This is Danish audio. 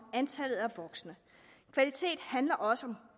antallet af voksne kvalitet handler også om